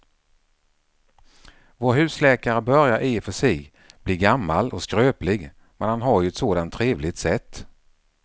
Vår husläkare börjar i och för sig bli gammal och skröplig, men han har ju ett sådant trevligt sätt!